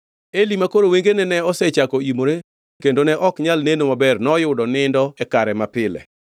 Eli makoro wengene ne osechako imore kendo ne ok onyal neno maber, noyudo nindo e kare mapile.